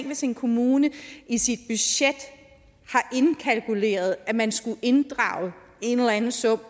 hvis en kommune i sit budget indkalkulerede at man skulle inddrage en eller anden sum